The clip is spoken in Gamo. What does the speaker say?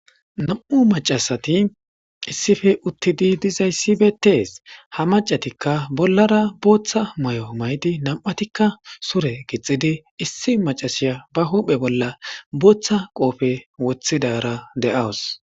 Nam' macasati issife uttidi dizayssibetees ha macatikka bollara booththa may7o maydi nam7atikka sure gixidi issi macasiya ba huuphe bolla booththa qoofe woththidara de7awus.